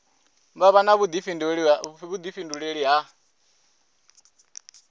vha vha na vhuḓifhinduleli ha